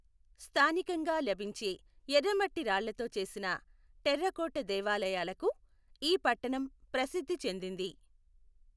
స్థానికంగా లభించే ఎర్రమట్టి రాళ్లతో చేసిన టెర్రకోట దేవాలయాలకు ఈ పట్టణం ప్రసిద్ధి చెందింది.